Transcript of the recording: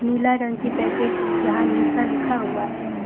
नीला रंग की पैकेट जहां निशा लिखा हुआ है।